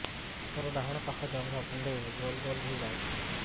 ମୋର ଡାହାଣ ପାଖ ଜଙ୍ଘରେ କୁଣ୍ଡେଇ ଗୋଲ ଗୋଲ ହେଇଯାଉଛି